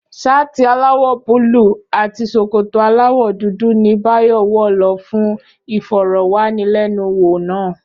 Ṣáàtì aláwọ̀ búlúù àti ṣòkòtò aláwọ̀ dúdú ni Báyọ̀ wọ̀ lọ fún ìfọ̀rọ̀wánilẹ́nuwò náà